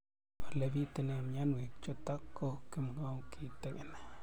Ole pitune mionwek chutok ko kimwau kitig'�n